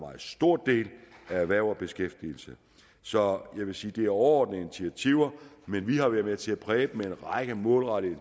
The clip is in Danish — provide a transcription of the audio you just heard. stor del af erhverv og beskæftigelse så jeg vil sige at det er overordnede initiativer men vi har været med til at præge dem med en række målrettede